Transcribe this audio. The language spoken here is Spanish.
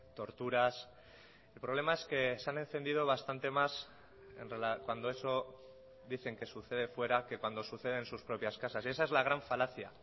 torturas el problema es que se han encendido bastante más cuando eso dicen que sucede fuera que cuando sucede en sus propias casas esa es la gran falacia